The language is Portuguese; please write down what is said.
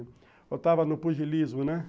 Eu estava no pugilismo, né?